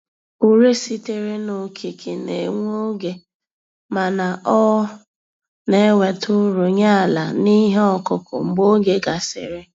Ure sitere na Okike na-ewe oge mana ọ na-eweta uru nye àlà n'ihe ọkụkụ, mgbe oge gasịrị